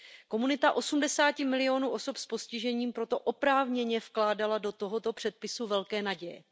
Komunita osmdesáti milionů osob s postižením proto oprávněně vkládala do tohoto předpisu velké naděje.